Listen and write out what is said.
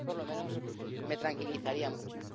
A mí, por lo menos, me tranquilizaría mucho.